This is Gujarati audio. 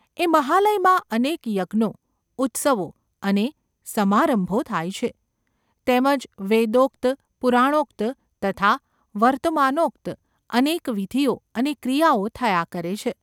એ મહાલયમાં અનેક યજ્ઞો, ઉત્સવો અને સમારંભો થાય છે તેમ જ વેદોક્ત, પુરાણોક્ત તથા વર્તમાનોક્ત અનેક વિધિઓ અને ક્રિયાઓ થયા કરે છે.